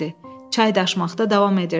Çay daşmaqda davam edirdi.